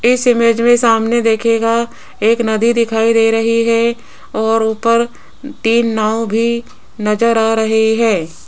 इस इमेज में सामने देखिएगा एक नदी दिखाई दे रही है और ऊपर तीन नाव भी नजर आ रही है।